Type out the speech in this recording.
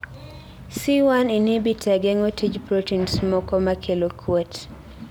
C1 inhibitor geng'o tij proteins moko makelo kuot